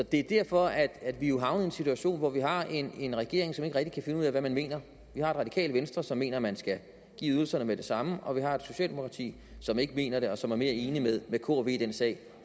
det er derfor at vi jo er havnet i en situation hvor vi har en regering som ikke rigtig kan finde ud af hvad den mener vi har radikale venstre som mener at man skal give ydelserne med det samme og vi har et socialdemokrati som ikke mener det og som er mere enig med k og v i den sag